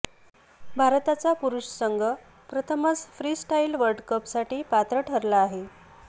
भारताचा पुरुष संघ प्रथमच फ्रीस्टाइल वर्ल्डकपसाठी पात्र ठरला आहे